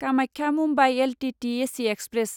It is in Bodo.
Kamakhya Mumbai LTT AC express